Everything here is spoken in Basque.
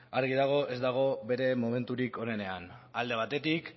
argi dago ez dagoela bere momenturik onenean alde batetik